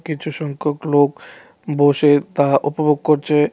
কিছু সংখ্যক লোক বসে তা উপভোগ করছে.